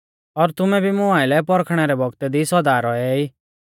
और तुमै भी मुं आइलै परखणै रै बौगतै दी सौदा रौऐ ई